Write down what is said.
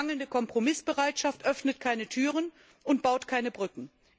Mangelnde Kompromissbereitschaft öffnet keine Türen und baut keine Brücken.